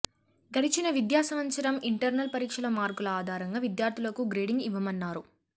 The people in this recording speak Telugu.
గడిచిన విద్యా సంవత్సరం ఇంటర్నల్ పరీక్షల మార్కుల ఆధారంగా విద్యార్ధులకు గ్రేడింగ్ ఇవ్వనున్నారు